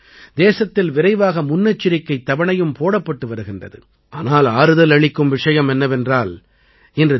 நாம் 200 கோடி தடுப்பூசித் தவணைகள் என்ற இலக்கை எட்டிக் கொண்டிருக்கிறோம்